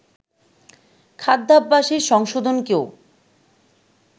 খাদ্যাভ্যাসের সংশোধনকেও